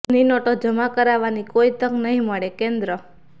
જૂની નોટો જમા કરાવવાની કોઈ તક નહીં મળેઃ કેન્દ્ર